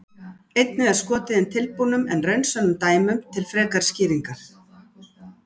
Einnig er skotið inn tilbúnum en raunsönnum dæmum til frekari skýringar.